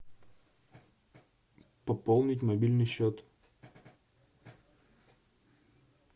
пополнить мобильный счет